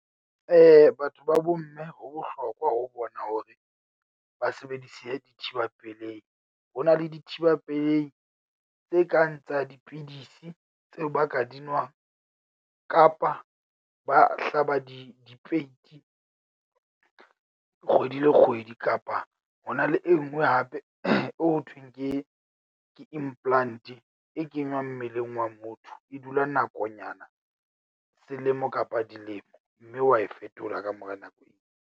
Batho ba bo mme ho bohlokwa ho bona hore ba sebedise dithiba pelehi. Ho na le dithiba pelehi tse kang tsa dipidisi tseo ba ka di nwang, kapa ba hlaba di dipeiti kgwedi le kgwedi, kapa ho na le e nngwe hape eo ho thweng ke ke implant-e. E kengwang mmeleng wa motho. E dula nakonyana selemo kapa dilemo mme wa e fetola ka mora nako .